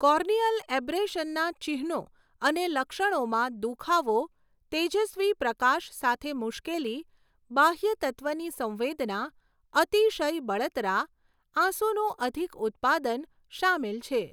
Corneal એબ્રેશનના ચિહ્નો અને લક્ષણોમાં દુખાવો, તેજસ્વી પ્રકાશ સાથે મુશ્કેલી, બાહ્ય તત્ત્વની સંવેદના, અતિશય બળતરા, આંસુનું અધિક ઉત્પાદન સામેલ છે.